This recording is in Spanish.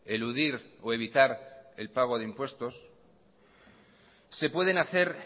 eludir o evitar el pago de impuestos se pueden hacer